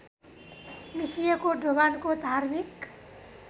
मिसिएको दोभानको धार्मिक